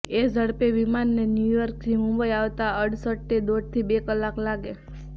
એ ઝડપે વિમાનને ન્યૂયોર્કથી મુંબઇ આવતા અડસટ્ટે દોઢથી બે કલાક લાગે